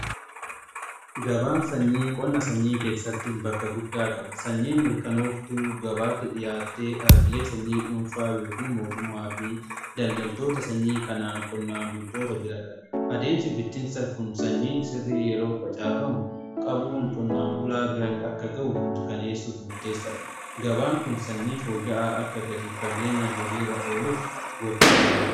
gabaan sanyii qonna sanyii keessattiin bakka guddaa qaba sanyii mirkanooftuu gabaatti dhiyaattee dhaabbilee sanyii dhuunfaa yookaan mootummaa fi daldaltoota sanyii kanaan qonnaan bultoota bira gaha. adeemsi bittinsaa kun sanyii sirrii yeroo facaafamu qabuun qonnaan bulaa akka ga'u mirkaneessuuf murteessa dha. gabaan kun sanyii fooyya'aa akka gadi fageenyan hojiirra oluuf gochuuf gargara.